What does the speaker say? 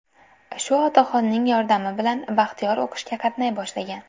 Shu otaxonning yordami bilan Baxtiyor o‘qishga qatnay boshlagan.